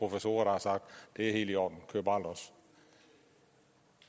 professorer der har sagt det er helt i orden kør bare los